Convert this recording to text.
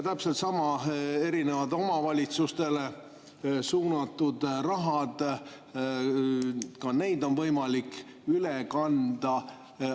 Samuti erinevad omavalitsustele suunatud rahad, ka neid on võimalik üle kanda.